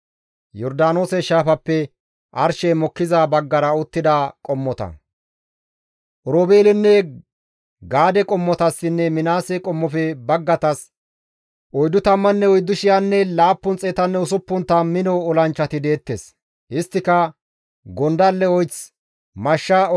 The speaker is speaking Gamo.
Oroobeelesi, Gaade qommotassinne Minaase qommofe baggatas 44,760 mino olanchchati deettes; isttika gondalle oyth, mashsha oyththinne wondafen oleteth eriza mino olanchchata.